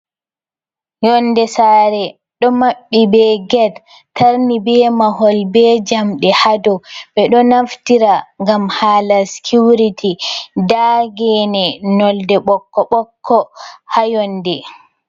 Yonde saare ɗo maɓɓi be get, tarni be mahol, be jamɗe ha dou. Ɓe ɗo naftira ngam hala skiwriti. Nda gene nolde ɓokko-ɓokko ha yonde.